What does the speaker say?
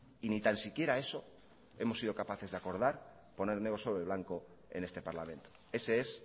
y ni tan siquiera eso hemos sido capaces de acordar poner negro sobre blanco en este parlamento ese es